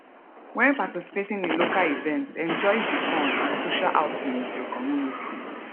when participating in local event enjoy di fun and social outing with your community